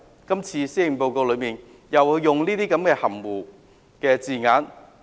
今次的施政報告，卻利用這些含糊的字眼。